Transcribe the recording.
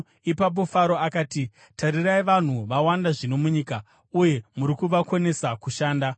Ipapo Faro akati, “Tarirai, vanhu vawanda zvino munyika, uye muri kuvakonesa kushanda.”